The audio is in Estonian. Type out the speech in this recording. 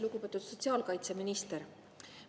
Lugupeetud sotsiaalkaitseminister!